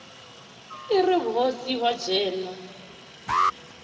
i ri vhuhosi hu dzhenwa